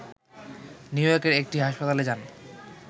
new ইয়র্কের একটি হাসপাতালে যান